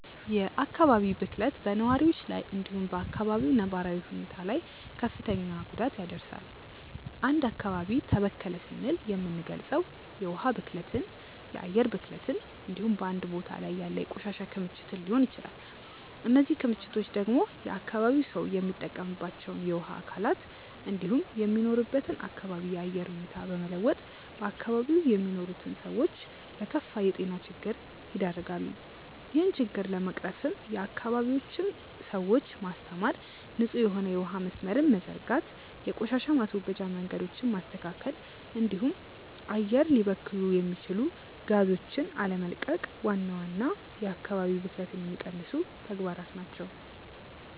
የአካባቢ ብክለት በነዋሪዎች ላይ እንዲሁም በ አካባቢው ነባራዊ ሁኔታ ላይ ክፍትን ጉዳት ያደርሳል። አንድ አካባቢ ተበከለ ስንል የምንልገጸው የውሀ ብክለትን፣ የአየር ብክለትን እንዲሁም በአንድ ቦታ ላይ ያለ የቆሻሻ ክምችትን ሊሆን ይችላል። እነዚህ ክምችቶች ደግሞ የአካባቢው ሰው የሚጠቀምባቸውን የውሀ አካላት እንዲሁም የሚኖርበትን አካባቢ የአየር ሁኔታ በመለወጥ በአካባቢው የሚኖሩትን ሰዎች ለከፋ የጤና ችግር ይደረጋሉ። ይህን ችግር ለመቅረፍም የአካባቢውን ሰዎች ማስተማር፣ ንጹህ የሆነ የውሀ መስመርን መዘርጋት፣ የቆሻሻ ማስወገጃ መንገዶችን ማስተካከል እንዲሁም አየር ሊበክሉ የሚችሉ ጋዞችን አለመቀቅ ዋና ዋና የአካባቢ ብክለትን የሚቀንሱ ተግባራት ናቸው።